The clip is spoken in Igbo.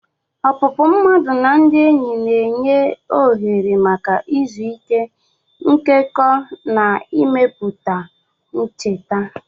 Opupu mmadu na ndị enyi na-enye ohere maka izu ike, nkekọ, na imepụta ncheta.